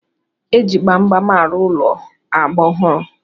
E ji gbamgbam arụ ụlọ agba ọhụrụ.